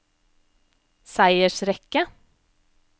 seiersrekke